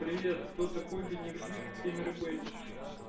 кто такой бенедикт камбербэтч